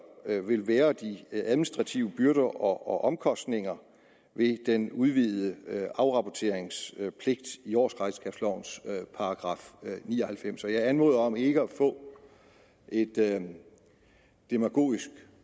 vil være de administrative byrder og omkostninger ved den udvidede afrapporteringspligt i årsregnskabslovens § ni og halvfems jeg anmoder om ikke at få et demagogisk